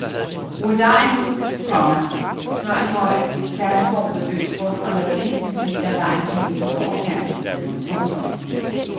Rul dejen ud, komma smør en høj tærteform med løs bund og lad en centimeter af dejen hænge ud over kanten. punktum